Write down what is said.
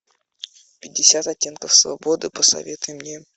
пятьдесят оттенков свободы посоветуй мне